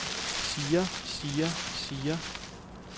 siger siger siger